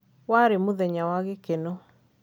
warĩ mũthenya wa gĩkeno